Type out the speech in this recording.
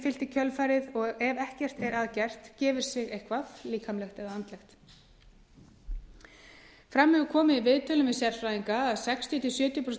fylgt í kjölfarið og ef ekkert er að gert gefur sig eitthvað líkamlegt eða andlegt fram hefur komið í viðtölum við sérfræðinga að sextíu til sjötíu prósent